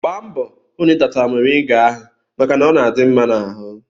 Gbaa mbọ hụ na ị tata moriga ahụ maka na ọ dị mma n'ahụ!